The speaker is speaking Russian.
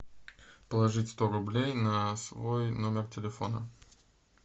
положить сто рублей на свой номер телефона